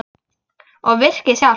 Og virkið sjálft?